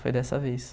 Foi dessa vez.